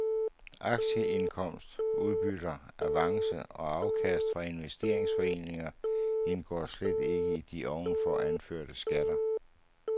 Aktieindkomst, udbytter, avance og og afkast fra investeringsforeninger, indgår slet ikke i de ovenfor anførte skatter.